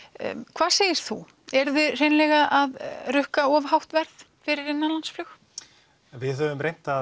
hvað segir þú eruð þið hreinlega að rukka of hátt verð fyrir innanlandsflug við höfum reynt að